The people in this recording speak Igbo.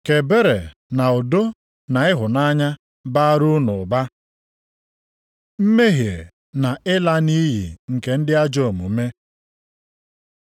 Ka ebere na udo na ịhụnanya bara unu ụba. Mmehie na ịla nʼiyi nke ndị ajọ omume